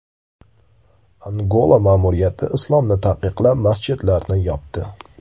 Angola ma’muriyati islomni taqiqlab, masjidlarni yopdi .